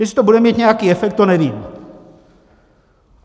Jestli to bude mít nějaký efekt, to nevím.